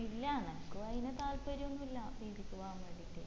ഇല്ല എനക്കും അയിന് താല്പര്യയൊന്നും ഇല്ല pg ക്ക് പോവാൻ വേണ്ടിയിട്ട്